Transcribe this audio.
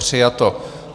Přijato.